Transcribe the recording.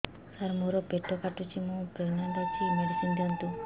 ସାର ମୋର ପେଟ କାଟୁଚି ମୁ ପ୍ରେଗନାଂଟ ଅଛି ମେଡିସିନ ଦିଅନ୍ତୁ